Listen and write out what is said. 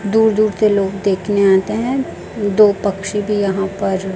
दूर दूर से लोग देखने आते हैं दो पक्षी भी यहां पर--